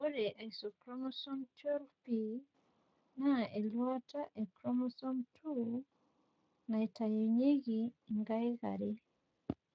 ore isochromosome 12p naa eluata e chromosome 2 naitayunyieki inkaik are.